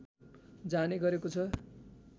जाने गरेको छ